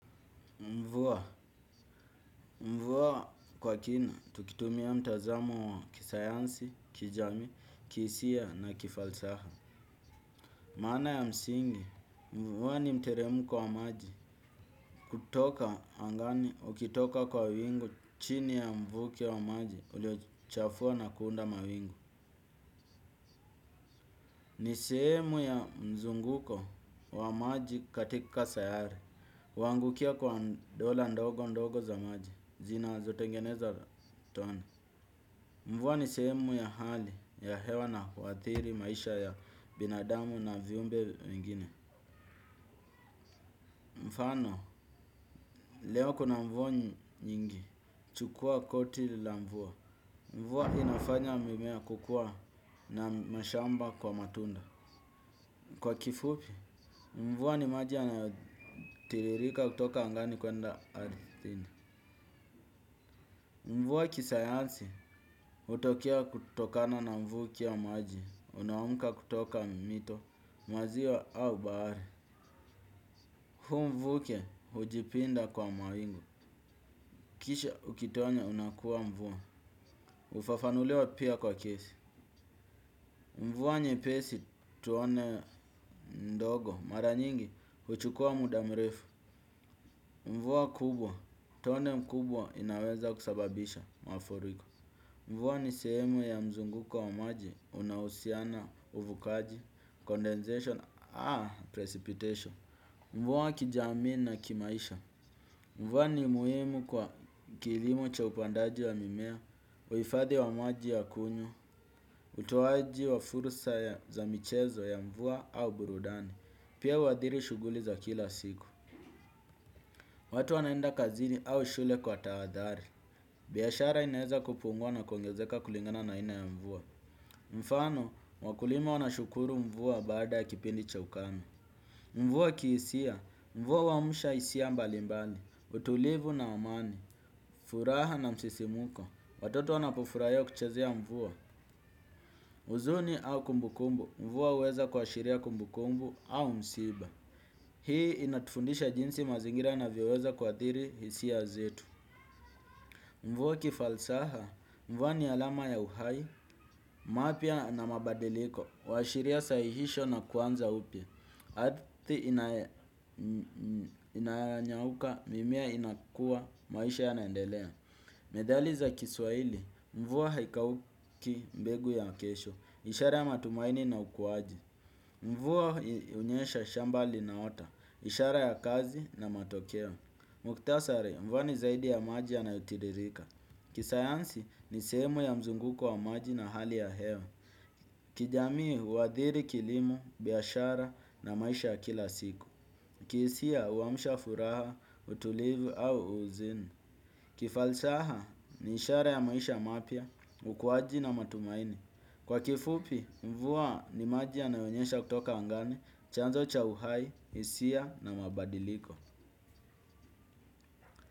Mvua, mvua kwa kina, tukitumia mtazamo wa kisayansi, kijamii, kisia na kifalsafa. Maana ya msingi, mvua ni mteremko wa maji. Kutoka angani, ukitoka kwa wingu, chini ya mvuke wa maji uliochafua na kuunda mawingu. Ni sehemu ya mzunguko wa maji katika sayari. Huangukia kwa dola ndogo ndogo za maji. Zinazotengeneza tone. Mvua ni sehemu ya hali ya hewa na huathiri maisha ya binadamu na viumbe mengine. Mfano, leo kuna mvua nyingi. Chukua koti la mvua. Mvuwa inafanya mimea kukua na mashamba kwa matunda. Kwa kifupi, mvua ni maji yanayotiririka kutoka angani kwenda ardhini. Mvua kisayansi, hutokea kutokana na mvuki wa maji. Unaoamuka kutoka mito, maziwa au bahari. Huu mvuke hujipinda kwa mawingu. Kisha ukitonya unakuwa mvua hufafanuliwa pia kwa kesi. Mvua nyepesi tuone ndogo. Mara nyingi huchukua muda mrefu. Mvua kubwa, tone mkubwa inaweza kusababisha mafuriko. Mvua ni sehemu ya mzunguko wa maji. Unaohusiana uvukaji, condensation precipitation. Mvua kijamii na kimaisha. Mvua ni muhimu kwa kilimo cha upandaji wa mimea. Uhifadhi wa maji ya kunywa. Utoaji wa furusa za michezo ya mvua au burudani. Pia huadhiri shughuli za kila siku. Watu wanaenda kazini au shule kwa tahadhari. Biashara inaeza kupungua na kongezeka kulingana na aina ya mvua. Mfano, wakulima wanashukuru mvua baada ya kipindi cha ukame. Mvua kihisia. Mvua huamsha hisia mbalimbali, utulivu na amani, furaha na msisimuko, watoto wanapufurahia kuchezea mvua huzuni au kumbukumbu, mvua huweza kuashiria kumbukumbu au msiba. Hii inatufundisha jinsi mazingira yanavyoweza kuathiri hisia zetu. Mvua kifalsafa, mvua ni alama ya uhai, mapya na mabadiliko, huashiria sahihisho na kuanza upya. Ardhi inanyauka mimea inakua maisha yanaendelea. Methali za kiswaili, mvua haikauki mbegu ya kesho ishara ya matumaini na ukuwaji. Mvuwa hunyesha shamba linaota ishara ya kazi na matokeo. Muktasari, mvua ni zaidi ya maji yanayotiririka. Kisayansi ni sehemu ya mzunguko wa maji na hali ya hewa. Kijamii huathiri kilimo, biashara na maisha ya kila siku. Kihisia huamsha furaha, utulivu au huzuni. Kifalsaha ni ishara ya maisha mapya, ukuwaji na matumaini. Kwa kifupi, mvua ni maji yanayonyesha kutoka angani, chanzo cha uhai, hisia na mabadiliko.